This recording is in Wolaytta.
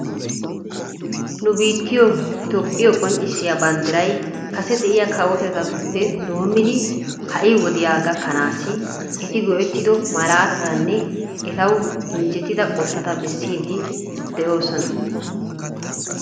Nu biittiyoo itophphiyoo qonccisiyaa banddiray kase de'iyaa kawotettatuppe doomidi ha'i wodiyaa gakkanassi eti go"ettido malaatatanne etawu injjetida qottata bessiidi de'oosona.